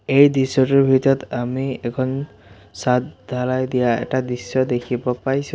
এই দৃশ্যটোৰ ভিতৰত আমি এখন চাঁদ ঢালাই দিয়া এটা দৃশ্য দেখিব পাইছোঁ।